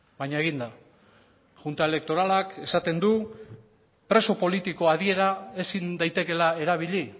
baina egin da junta elektoralak esaten du preso politiko adiera ezin daitekeela erabili